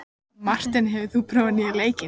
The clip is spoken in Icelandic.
Marteinn, hefur þú prófað nýja leikinn?